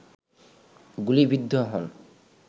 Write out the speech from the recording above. গুলিবিদ্ধ হন